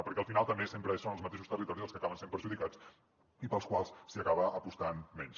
perquè al final també sempre són els mateixos territoris els que acaben sent perjudicats i pels quals s’acaba apostant menys